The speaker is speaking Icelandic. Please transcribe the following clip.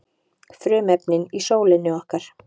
frumefnin í sólinni okkar